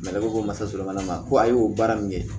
ne ko ko masala ma ko a y'o baara min kɛ